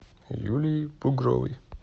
юлией бугровой